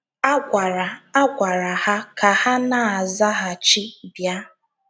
A gwara A gwara ha ka ha na - azaghachi “ bịa. ”